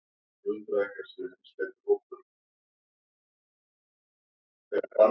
Siggi stakk af eftir leik og fór að fagna með landsliðinu á Ingólfstorgi.